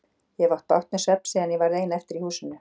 Ég hef átt bágt með svefn síðan ég varð ein eftir í húsinu.